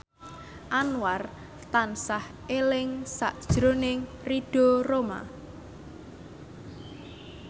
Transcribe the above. Anwar tansah eling sakjroning Ridho Roma